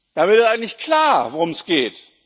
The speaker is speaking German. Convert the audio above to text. Da wird ja eigentlich klar, worum es geht.